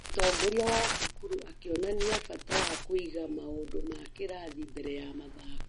Mũtongoria wa cukuru akĩonania bata wa kũiga maũndũ ma kĩrathi mbere ya mathako